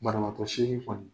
Banabatɔ seegin kɔni,